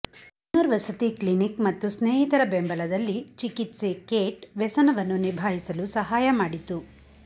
ಪುನರ್ವಸತಿ ಕ್ಲಿನಿಕ್ ಮತ್ತು ಸ್ನೇಹಿತರ ಬೆಂಬಲದಲ್ಲಿ ಚಿಕಿತ್ಸೆ ಕೇಟ್ ವ್ಯಸನವನ್ನು ನಿಭಾಯಿಸಲು ಸಹಾಯ ಮಾಡಿತು